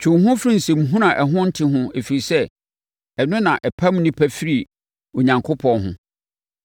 Twe wo ho firi nsɛnhuhuo a ɛho nte ho ɛfiri sɛ, ɛno na ɛpam nnipa firi Onyankopɔn ho.